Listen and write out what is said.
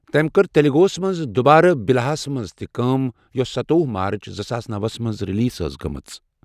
تٔمۍ کٔر تیلگوَس منٛز دُبارٕ بِلاہَس منٛز تہِ کٲم یوٚس ستووہہ مارچ زٕ ساس نوَس منٛز ریلیز ٲسۍ گٔمٕژ۔